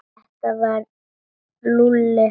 Þetta var Lúlli.